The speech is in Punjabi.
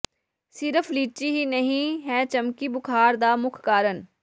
ਸਿਰਫ ਲੀਚੀ ਹੀ ਨਹੀਂ ਹੈ ਚਮਕੀ ਬੁਖਾਰ ਦਾ ਮੁੱਖ ਕਾਰਨ